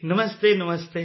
ਨਮਸਤੇ ਨਮਸਤੇ